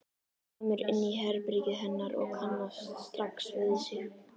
Kemur inn í herbergið hennar og kannast strax við sig.